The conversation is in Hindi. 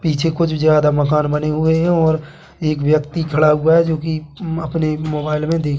पीछे कुछ ज्यादा मकान बने हुए है और एक व्यक्ति खड़ा हुआ है जो कि अपने मोबाइल में देखें--